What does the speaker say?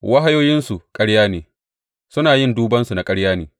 Wahayoyinsu ƙarya ne suna yin dubansu na ƙarya ne.